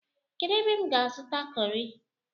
Kedu ebe m ga-azuta kọri?